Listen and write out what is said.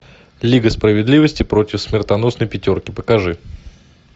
лига справедливости против смертоносной пятерки покажи